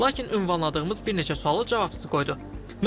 Lakin ünvanladığımız bir neçə sualı cavabsız qoydu.